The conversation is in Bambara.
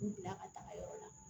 K'u bila ka taga yɔrɔ la